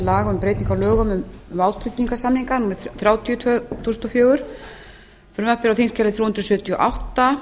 breytingu á lögum um vátryggingarsamninga númer þrjátíu tvö þúsund og fjögur frumvarpið er á þingskjali þrjú hundruð sjötíu og átta